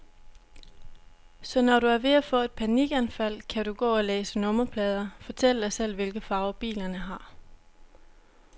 Så når du er ved at få et panikanfald, kan du gå og læse nummerplader, fortælle dig selv, hvilke farver bilerne har.